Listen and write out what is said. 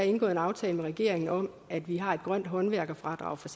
indgået en aftale med regeringen om at vi har et grønt håndværkerfradrag for